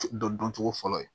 Dɔn dɔn cogo fɔlɔ ye